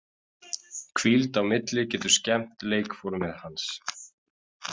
Hvíld á milli getur skemmt leikformið hans.